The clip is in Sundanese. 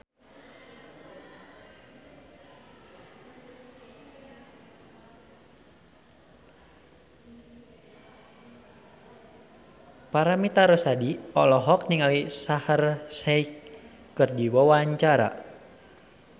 Paramitha Rusady olohok ningali Shaheer Sheikh keur diwawancara